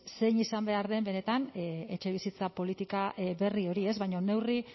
zein izan behar den benetan etxebizitza politika berri hori baina neurri